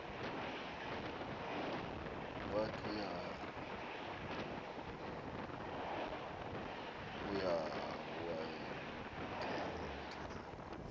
wath uyakwaz ukuthetha